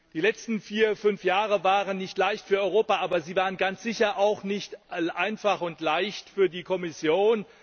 Die letzten vier, fünf Jahre waren nicht leicht für Europa, aber sie waren ganz sicher auch nicht einfach und leicht für die Kommission.